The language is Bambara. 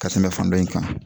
Ka tɛmɛ fan dɔ in kan